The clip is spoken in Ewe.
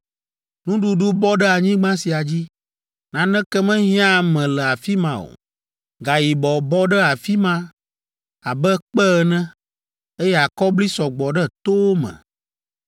Nuɖuɖu bɔ ɖe anyigba sia dzi. Naneke mehiãa ame le afi ma o. Gayibɔ bɔ ɖe afi ma abe kpe ene, eye akɔbli sɔ gbɔ ɖe towo me.